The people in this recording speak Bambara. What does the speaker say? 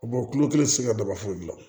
tulo kelen ti se ka daba foyi gilan